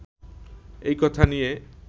এই কথা নিয়ে